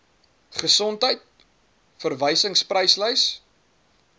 gesondheid verwysingspryslys ngvpl